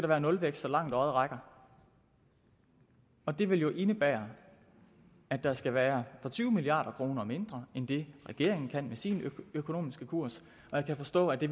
være nulvækst så langt øjet rækker og det vil jo indebære at der skal være for tyve milliard kroner mindre end det regeringen kan med sin økonomiske kurs og jeg kan forstå at det